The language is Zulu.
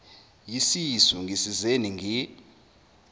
yisisu ngisizeni ngi